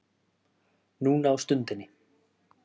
Núna á stundinni